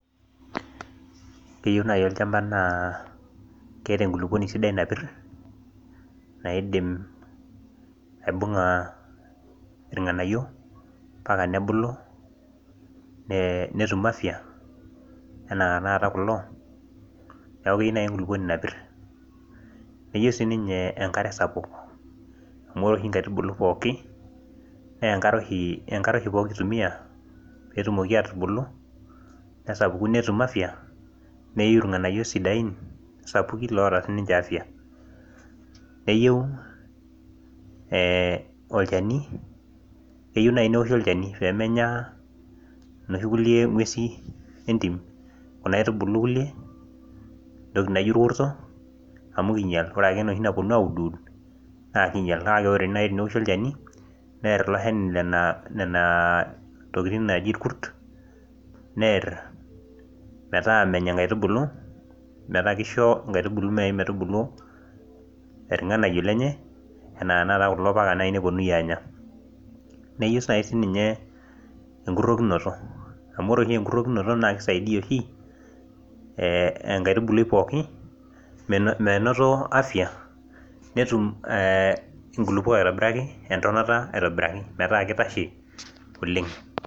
keyieu naaji olchampa naa keeta enkulupuni sidai, naidim aibung'a irnganayio. mpaka nebulu. netum afia, anaa tenakata kulo. neeku keyiiu naaji enkuluponi napir. nayieu si ninye enkare sapuk. amu ore oshi inkaitubulu pookin, naa enkare oshi poki ituumia. pee etumoki aatubulu, nesapuku netum afia. nayiu irnganayio sidain sapuk loota sii ninche afia. neyieu ee olchani. keyieu naaji neoshi olchani pee menya. noshi kulie ng'uesi entim, kuna aitubulu kulie entoki naijo olkurto. amu kingial. ore ake enoshi napuonu audu aud. naa kingial ore ake pee eoshi olcani, neer ilo shani nena tokitin. naaji ilkurt. neer meta menya nkaitubulu. metaa kisho, inkaitubulu naji metubulu, irnganayio lenye. anaa tenakata kulo paa naaji nepuonunui aanya. neyeiu sai sii ninyeenkurokinoto. amu ore oshi enkurokinoto naa kisaidia oshi enkaitubului pookin. menoto afia. netum nkulupok aitobiraki. metaa kitashe aitobiraki oleng.